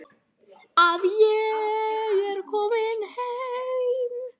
Að ég er komin heim.